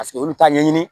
Paseke olu t'a ɲɛɲini